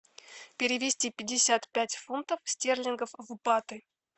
перевести пятьдесят пять фунтов стерлингов в баты